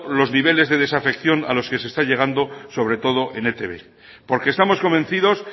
los niveles de desafección a los que se está llegando sobre todo en etb porque estamos convencidos